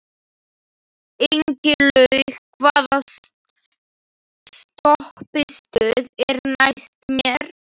Ingilaug, hvaða stoppistöð er næst mér?